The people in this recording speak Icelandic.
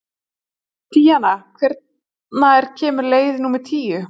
Díanna, hvenær kemur leið númer tíu?